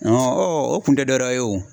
o kun tɛ dɔwɛrɛ ye o.